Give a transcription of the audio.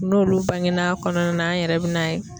N'olu bangen'a kɔnɔna na an yɛrɛ bi n'a ye